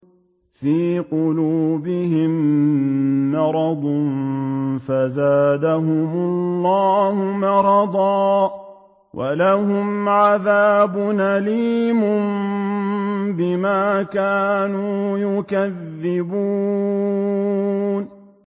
فِي قُلُوبِهِم مَّرَضٌ فَزَادَهُمُ اللَّهُ مَرَضًا ۖ وَلَهُمْ عَذَابٌ أَلِيمٌ بِمَا كَانُوا يَكْذِبُونَ